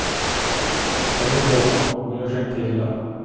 Det går bra, hon gör sig inte illa.